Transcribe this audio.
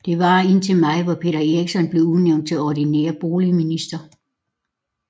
Det varede indtil maj hvor Peter Eriksson blev udnævnt til ordinær boligminister